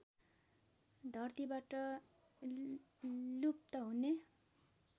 धरतीबाट लुप्त हुने